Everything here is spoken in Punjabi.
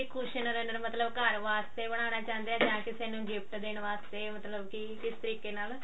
cushion runner ਮਤਲਬ ਘਰ ਵਾਸਤੇ ਬਣਾਉਣਾ ਚਾਹੁੰਦੇ ਹੋ ਜਾਂ ਕਿਸੇ ਨੂੰ ਗੋਫ੍ਤ ਦੇਣ ਵਾਸਤੇ ਤੇ ਮਤਲਬ ਕੀ ਕਿਸ ਤਰੀਕੇ ਨਾਲ